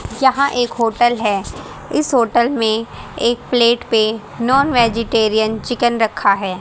यहां एक होटल है इस होटल में एक प्लेट पे नॉन वेजिटेरियन चिकन रखा है।